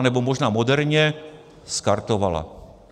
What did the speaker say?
Nebo možná moderně skartovala.